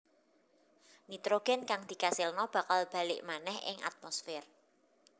Nitrogén kang dikasilna bakal balik manèh ing atmosfér